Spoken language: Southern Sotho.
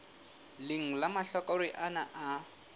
leng la mahlakore ana a